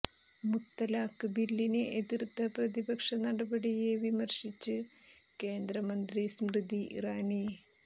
മുത്തലാക്ക് ബില്ലിനെ എതിര്ത്ത പ്രതിപക്ഷ നടപടിയെ വിമര്ശിച്ച് കേന്ദ്രമന്ത്രി സ്മൃതി ഇറാനി